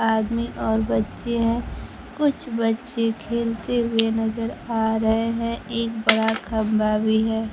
आदमी और बच्चे है कुछ बच्चे खेलते हुए नजर आ रहे हैं एक बड़ा खंभा भी है।